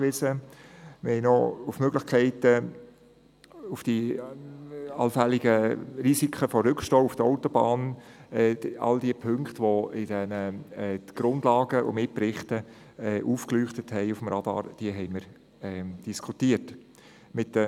Auch diskutierten wir mit den zuständigen Fachpersonen die allfälligen Risiken eines Rückstaus auf der Autobahn sowie alle anderen Aspekte, die in den Grundlagen und Mitberichten aufgeführt werden.